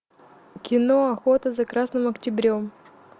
кино охота за красным октябрем